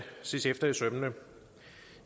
ses efter i sømmene